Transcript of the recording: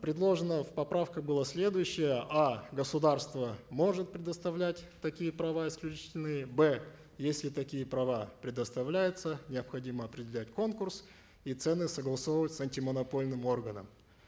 предложено в поправках было следующее а государство может предоставлять такие права исключительные б если такие права предоставляются необходимо определять конкурс и цены согласовывать с антимонопольным органом